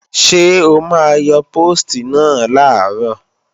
Ṣé o máa yọ póòstì náà làárọ̀?